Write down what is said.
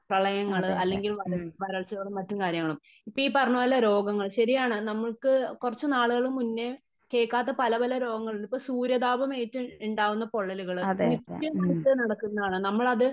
പ്രളയങ്ങള് അല്ലെങ്കിൽ വരൾച്ചകളും മറ്റും കാര്യങ്ങളും . ഇപ്പം ഈ പറഞ്ഞ പോലെ രോഗങ്ങളും ശരിയാണ് നമുക്ക് കുറച്ച് നാളുകൾ മുന്നേ കേൾക്കാത്ത പല പല രോഗങ്ങളുണ്ട് . ഇപ്പം സൂര്യതാപം ഏറ്റ് ഉണ്ടാകുന്ന പൊള്ളലുകള് നിത്യമായിട്ട് നടക്കുന്നതാണ് നമ്മൾ അത്